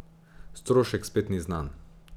Strošek spet ni znan.